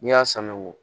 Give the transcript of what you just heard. N'i y'a san wo